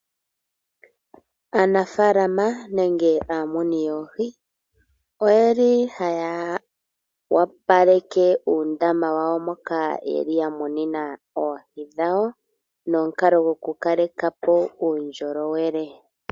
Aanafaalama nenge aamuni yoohi oye li haya opaleke uundama wawo moka ye li ya munina oohi dhawo nomukalo gokukaleka po uundjolowele.